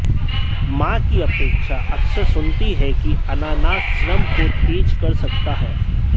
मां की अपेक्षा अक्सर सुनती है कि अनानास श्रम को तेज कर सकता है